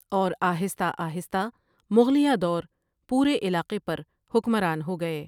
اور آہستہ آہستہ مغلیہ دور پورے علاقے پر حکمران ہو گئے۔